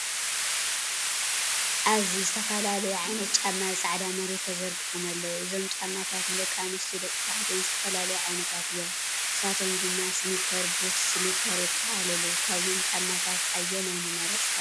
ኣብዚ ዝተፈላለዩ ዓይነታት ጫማ ኣብ ጻዕዳ መሬት ተዘርጊሖም ኣለዉ። እዞም ጫማታት ንደቂ ኣንስትዮን ደቂ ተባዕትዮን ዝተፈላለዩ ዓይነታት እዮም፤ ንሳቶም ድማ ስኒከር፡ ቡት፡ ስሊፐር የጠቓልሉ። ካብዞም ጫማታት ኣየናይ ምመረጽካ ትብል?